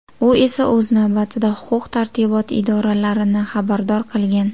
U esa o‘z navbatida huquq-tartibot idoralarini xabardor qilgan.